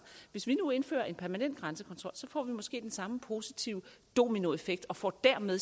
hvis nu vi indfører en permanent grænsekontrol får vi måske den samme positive dominoeffekt og får dermed